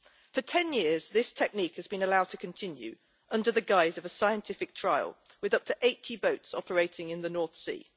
For 10 years, this technique has been allowed to continue under the guise of a scientific trial, with up to 80 boats operating in the North Sea.